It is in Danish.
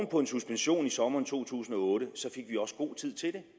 på en suspension i sommeren to tusind og otte fik vi også god tid til det